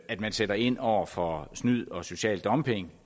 at man sætter ind over for snyd og social dumping